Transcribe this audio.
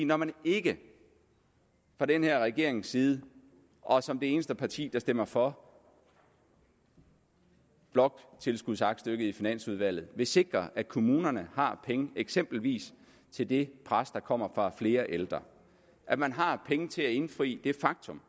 når man ikke fra den her regerings side og som det eneste parti der stemmer for bloktilskudsaktstykket i finansudvalget vil sikre at kommunerne har penge eksempelvis til det pres der kommer fra flere ældre at man har penge til at indfri det faktum